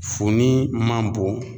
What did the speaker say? Funin man bon